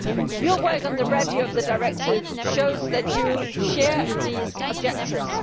Your work on the review of the Directive shows that you share these objectives.